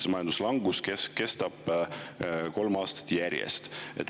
See langus kestab juba kolm aastat järjest.